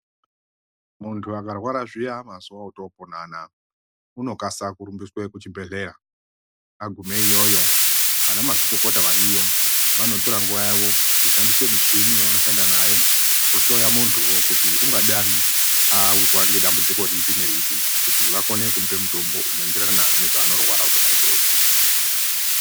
Mundu akarwara zviya mazuwa otopona anaya unokasa kurumbiswa kuchibhedhleya, aguma iyoyo anamazvikokota wariyo anotora nguwa yawo kushandisa muchini yawanoshanda nayo kuhloya munduwo ungadani awirwa ngedambudziko ripi neripi kuti wakone kupe mutombo unoenderana nezvaanorwara zvona izvozvo.